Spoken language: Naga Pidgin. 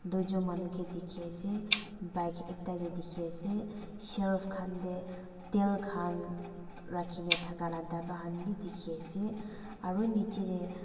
dwijo manu ke dikhiase bike ekta deh dikhi ase shelf khan deh tal khan rakhina thakala daba Han bi dikhi ase aru niche deh.